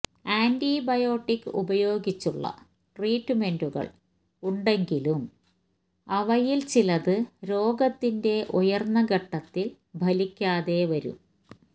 antibiotic ഉപയോഗിച്ചുള്ള ട്രീറ്റ്മെന്റുകള് ഉണ്ടെങ്കിലും അവയില് ചിലത് രോഗത്തിന്റെ ഉയര്ന്ന ഘട്ടത്തില് ഫലിക്കാതെ വരും